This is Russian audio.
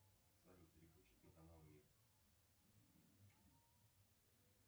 салют переключить на канал мир